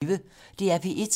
DR P1